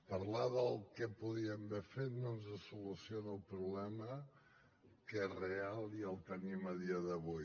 parlar del que podríem haver fet no ens soluciona el problema que és real i el tenim a dia d’avui